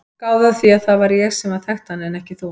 Gáðu að því að það var ég sem þekkti hann en ekki þú.